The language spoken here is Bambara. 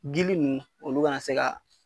Gili ninnu olu kana se ka.